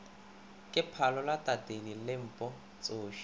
ke phalola tatedi lempo tsoši